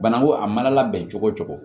Banako a mana labɛn cogo cogo